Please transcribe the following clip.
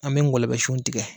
An bɛ ngɔlɔbɛ sun tigɛ